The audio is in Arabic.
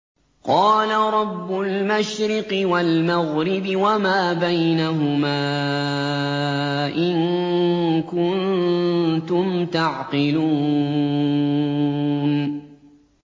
قَالَ رَبُّ الْمَشْرِقِ وَالْمَغْرِبِ وَمَا بَيْنَهُمَا ۖ إِن كُنتُمْ تَعْقِلُونَ